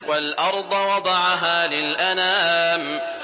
وَالْأَرْضَ وَضَعَهَا لِلْأَنَامِ